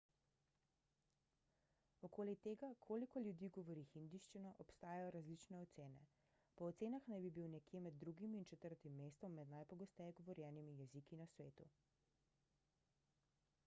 okoli tega koliko ljudi govori hindijščino obstajajo različne ocene po ocenah naj bi bil nekje med drugim in četrtim mestom med najpogosteje govorjenimi jeziki na svetu